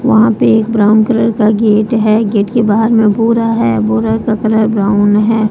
वहां पर एक ब्राउन कलर का गेट है गेट के बाहर में बोरा है बोरा का कलर ब्राउन है।